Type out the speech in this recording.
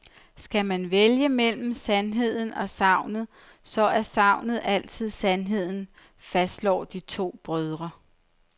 Skal man vælge mellem sandheden og sagnet, så er sagnet altid sandheden, fastslår de to brødre.